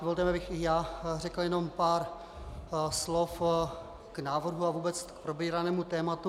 Dovolte mi, abych i já řekl jenom pár slov k návrhu a vůbec k probíranému tématu.